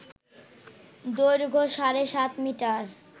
দৈর্ঘ্য সাড়ে সাত মিটার